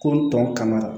Ko tɔ kana